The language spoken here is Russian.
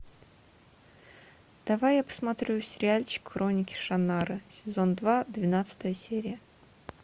давай я посмотрю сериальчик хроники шаннары сезон два двенадцатая серия